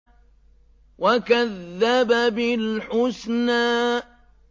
وَكَذَّبَ بِالْحُسْنَىٰ